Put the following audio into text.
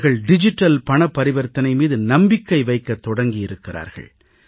அவர்கள் டிஜிட்டல் பணப் பரிவர்த்தனை மீது நம்பிக்கை வைக்கத் தொடங்கியிருக்கிறார்கள்